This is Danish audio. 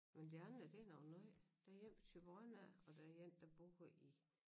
Men de andre det nogen nye der én fra Thyborøn af og der én der bor i